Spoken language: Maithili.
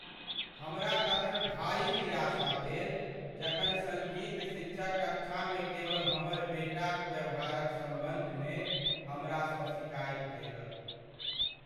हमरा तखन भारी निराशा भेल जखन सङ्गीत शिक्षक कक्षामे केवल हमर बेटाक व्यवहारक सम्बन्धमे हमरासँ शिकायत केलक।